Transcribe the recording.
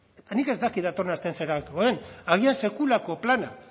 nik ez dakit datorren astean zer erabakiko den agian sekulako plana